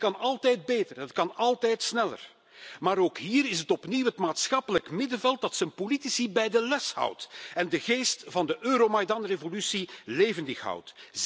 Het kan altijd beter, het kan altijd sneller, maar ook hier is het opnieuw het maatschappelijk middenveld dat zijn politici bij de les houdt en de geest van de Euromajdanrevolutie levendig houdt.